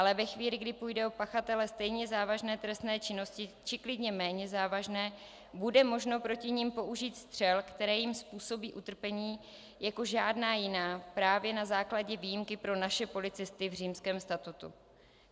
Ale ve chvíli, kdy půjde o pachatele stejně závažné trestné činnosti, či klidně méně závažné, bude možno proti nim použít střel, které jim způsobí utrpení jako žádná jiná, právě na základě výjimky pro naše policisty v Římském statutu.